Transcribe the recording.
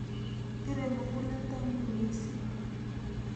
Pire mukuleldo ng'ung' missing'.